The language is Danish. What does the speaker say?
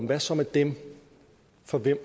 hvad så med dem for hvem